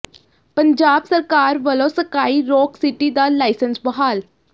ਪੰਜਾਬ ਸਰਕਾਰ ਵਲੋਂ Sky Rock City ਦਾ ਲਾਇਸੰਸ ਬਹਾਲ